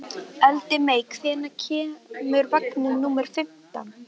Eldmey, hvenær kemur vagn númer fimmtán?